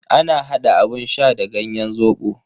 Ana hada abun sha da ganyen zobo.